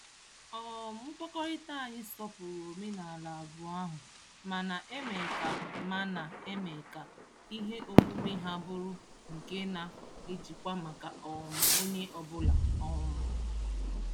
um Nkwekọrịta anyị sọpụrụ omenaala abụọ ahụ ma na-eme ka ma na-eme ka ihe omume ha bụrụ nke na-ejikwa maka um onye ọbụla. um